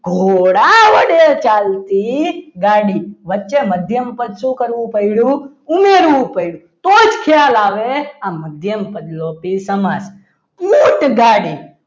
ઘોડા વડે ચાલતી ગાડી વચ્ચે મધ્યમ પદ શું કરવું પડ્યું? ઉમેરવું પડ્યું તો જ ખ્યાલ આવે મધ્યમ પદ લોપી સમાસ ઊંટગાડી